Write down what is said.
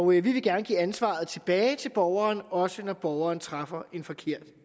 vi vil gerne give ansvaret tilbage til borgeren også når borgeren træffer en forkert